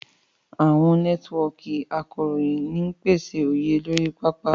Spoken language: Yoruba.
Àwọn nẹ́tíwọ́ọ̀kì akọ̀ròyìn ń pèsè òye lórí pápá.